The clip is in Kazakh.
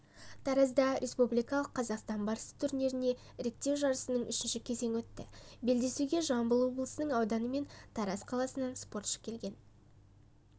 таразда республикалық қазақстан барысы турниріне іріктеу жарысының үшінші кезеңі өтті белдесуге жамбыл облысының ауданы мен тараз қаласынан спортшы келген